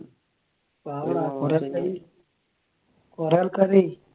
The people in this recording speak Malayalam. കുറെ ആൾക്കാരെ